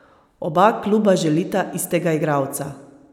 Oba kluba želita istega igralca!